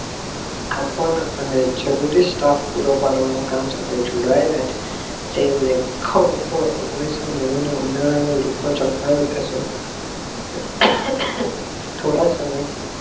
અફવાના અને જરૂરી staff માં પૂરો પાડવા ના કામ સાથે જોડાયેલા છે જે લખો લોકો ઓગણીસો નેવું ઉનાળામાં લેખો છપાયા થોડાક સમય